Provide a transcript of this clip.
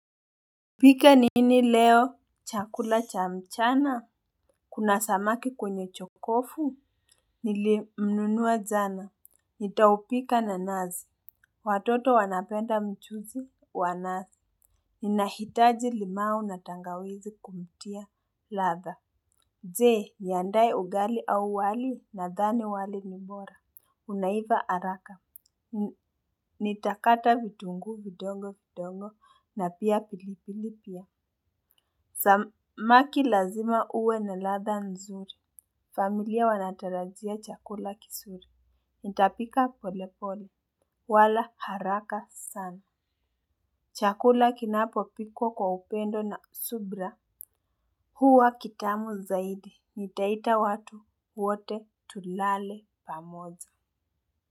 Nipike nini leo, chakula cha mchana? Kuna samaki kwenye jokofu? Nilimnunua jana, nitampika na nazi. Watoto wanapenda mchuzi wa nazi. Ninahitaji limau na tangawizi kumtia ladha. Je, niandae ugali au wali nadhani wali ni bora. Unaiva haraka. Nitakata vitunguu vidogo vidogo na pia pilipili pia. Samaki lazima uwe na ladha nzuri. Familia wanatarajia chakula kizuri. Nitapika polepole. Wala haraka sana. Chakula kinapopikwa kwa upendo na subira. Huwa kitamu zaidi. Nitaita watu wote tulale pamoja.